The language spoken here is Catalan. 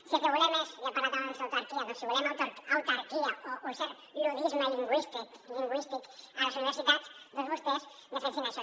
si el que volem és i ha parlat abans d’autarquia autarquia o un cert luddisme lingüístic a les universitats doncs vostès defensin això